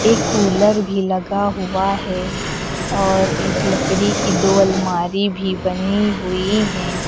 एक कूलर भी लगा हुआ है और एक लकड़ी की दो अलमारी भी बनी हुई हैं।